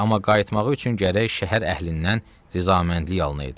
Amma qayıtmağı üçün gərək şəhər əhlindən razıməndlik alınaydı.